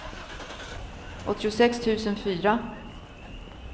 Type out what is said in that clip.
åttiosex tusen fyra